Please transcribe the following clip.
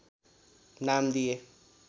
नाम दिए